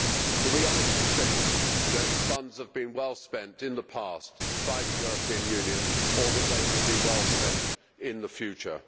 Do we honestly think that funds have been well spent in the past by the European Union or that they will be well spent in the future?